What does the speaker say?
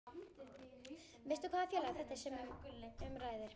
Veistu hvaða félag þetta er sem um ræðir?